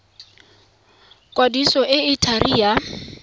kwadiso e e thari ya